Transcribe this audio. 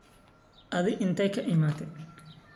Aadhi inte kaiimate.